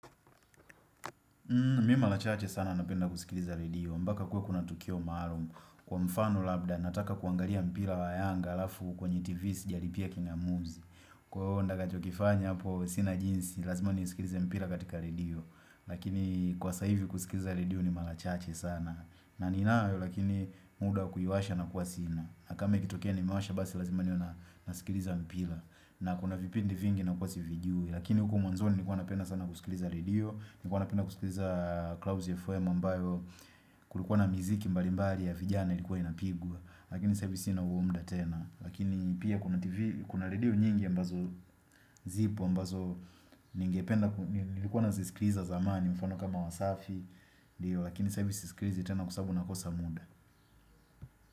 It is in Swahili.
Mi malachache sana napenda kusikiliza redio. Mbaka kuwe kuna tukio ambalo. Kwa mfano labda nataka kuangaria mpira wa yanga alafu kwenye tv sijalipia kinga muzi. Kwa honda kachokifanya hapo sinajinsi, lazima ni nisikiliza mpira katika radio. Lakini kwa saivi kusikiliza radio ni malachache sana. Na ni inayo lakini muda kuyuwasha na kuwasina na kama ikitokea ni mewasha basi lazima niwe nasikiliza mpila na kuna vipindi vingi na kuwa s vijui Lakini huku mwanzoni nikuwa napenda sana kusikiliza redio Nikuwa napenda kusikiliza clouds FM ambayo Kulikuwa na miziki mbalimbari ya vijana ilikuwa inapigwa Lakini sahivi sina huo mda tena Lakini pia kuna radio nyingi ya mbazo zipo mbazo ningependa nasikiliza zamani mfano kama wasafi diyo lakini saahivi siskilizi tena kwasabu nakosa muda.